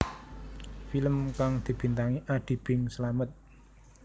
Film kang dibintangi Adi Bing Slamet